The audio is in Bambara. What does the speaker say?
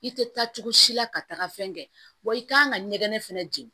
I tɛ taa cogo si la ka taga fɛn kɛ wa i kan ka ɲɛgɛn fɛnɛ jeni